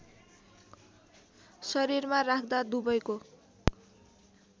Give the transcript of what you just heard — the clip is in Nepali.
शरीरमा राख्दा दुबैको